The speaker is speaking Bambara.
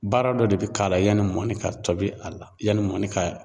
Baara dɔ de bi k'a la yanni mɔni ka tobi a la , yanni ka